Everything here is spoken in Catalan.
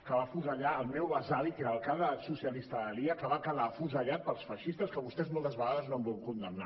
que va afusellar el meu besavi que era alcalde socialista d’alia que va quedar afusellat pels feixistes que vostès moltes vegades no han volgut condemnar